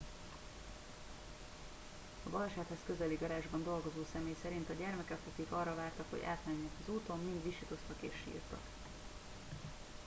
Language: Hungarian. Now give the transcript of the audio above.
a balesethez közeli garázsban dolgozó személy szerint a gyermekek akik arra vártak hogy átmenjenek az úton mind visítoztak és sírtak